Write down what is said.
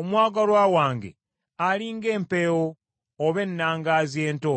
Omwagalwa wange ali ng’empeewo oba ennangaazi ento.